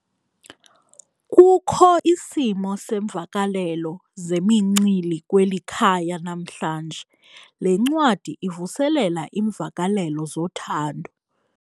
Kukho isimo seemvakalelo zemincili kweli khaya namhlanje. Le ncwadi ivuselela iimvakalelo zothando.